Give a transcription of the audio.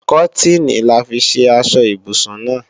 Kọ́tìnì là fi ṣe aṣọ ibùsùn náà